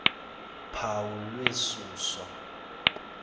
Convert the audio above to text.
phawu lwe susa